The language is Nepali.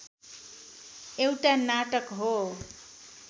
एउटा नाटक हो